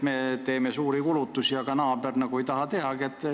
Me teeme suuri kulutusi, aga naaber nagu ei taha teha.